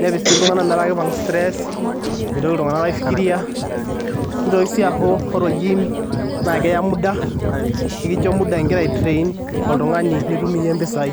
nepik sii iltung'anak metaa keipang' stress mitoki iltung'anak aifikiria, nitoki sii aaku ore olgym naa keyya muda, nikincho muda nitung'uikia impisai.